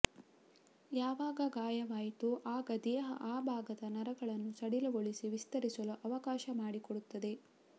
ಯಾವಾಗ ಗಾಯವಾಯಿತೋ ಆಗ ದೇಹ ಆ ಭಾಗದ ನರಗಳನ್ನು ಸಡಿಲಗೊಳಿಸಿ ವಿಸ್ತರಿಸಲು ಅವಕಾಶ ಮಾಡಿಕೊಡುತ್ತದೆ